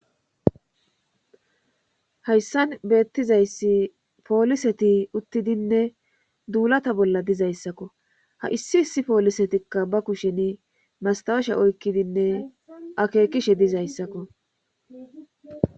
Hayssan beettizayssi pooliseti uttidinne duulata bolla dizayssakko ha issi issi poolisetikka ba kusheni mastawesha oykkidinne akeekishe dizayssakko